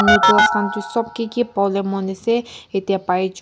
noodles khan tu sob ki ki pabole mon ase yate pai ja--